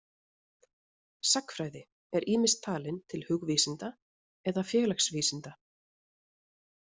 Sagnfræði er ýmist talin til hugvísinda eða félagsvísinda.